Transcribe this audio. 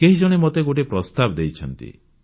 କେହି ଜଣେ ମୋତେ ଗୋଟିଏ ପ୍ରସ୍ତାବ ଦେଇଛନ୍ତି